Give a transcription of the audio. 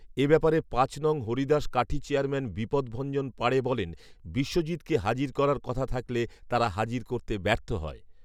এ ব্যাপারে পাঁচ নং হরিদাস কাঠি চেয়ারম্যান বিপদভঞ্জন পাঁড়ে বলেন, বিশ্বজিৎকে হাজির করার কথা থাকলে তারা হাজির করতে ব্যর্থ হয়